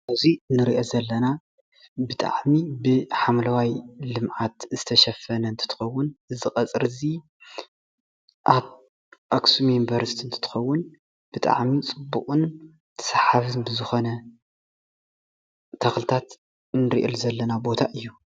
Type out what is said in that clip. እዙይ እንሪኦ ዘለና ብጣዕሚ ብሓምላዋይ ልምዓት ዝተሸፈነ እንትትከውን እዚ ቀፅሪ እዙይ ኣብ ኣክሱም ዩኒቨርሲቲ እንትኸውን ብጣዕሚ ፅቡቅን ሰሓባይን ብዝኾነ ተክልታት እንሪኤሉ ዘለና ቦታ እዩ።